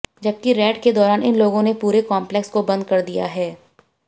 जबकि रेड के दौरान इन लोगों ने पूरे कॉम्प्लेक्स को बंद कर दिया है